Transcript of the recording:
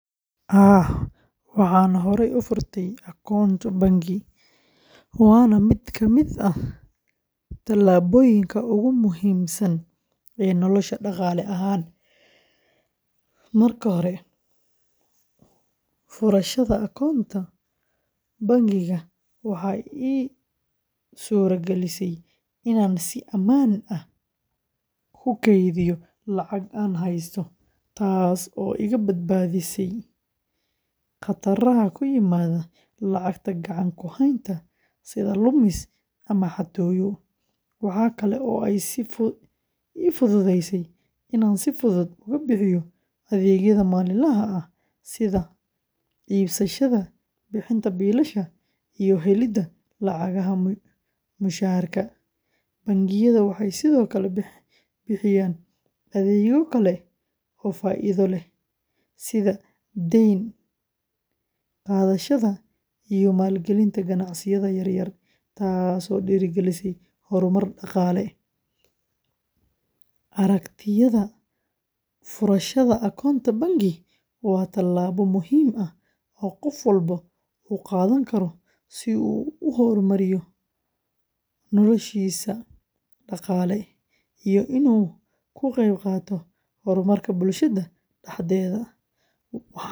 Haa, waxaan horey u furay akoonto bangi, waana mid ka mid ah tallaabooyinka ugu muhiimsan ee nolosheyda dhaqaale ahaan. Marka hore, furashada akoonto bangi waxay ii suuragalisay inaan si ammaan ah u kaydiyo lacagta aan heysto, taasoo iga badbaadisay khataraha ku yimaada lacagta gacan ku haynta sida lumis ama xatooyo. Waxa kale oo ay ii fududaysay inaan si fudud uga bixiyo adeegyada maalinlaha ah sida iibsashada, bixinta biilasha, iyo helidda lacagaha mushaharka. Bangiyada waxay sidoo kale bixiyaan adeegyo kale oo faa’iido leh sida deyn qaadashada iyo maalgelinta ganacsiyada yaryar, taasoo dhiirrigelisa horumar dhaqaale. Aragtidayda, furashada akoonto bangi waa tallaabo muhiim ah oo qof walba uu qaadan karo si uu u hormariyo noloshiisa dhaqaale iyo inuu ka qeyb qaato horumarka bulshada dhexdeeda.